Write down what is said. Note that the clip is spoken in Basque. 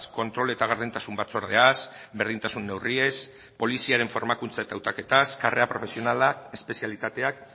kontrol eta gardentasun batzordeaz berdintasun neurriez poliziaren formakuntza eta hautaketaz karrera profesionala espezialitateak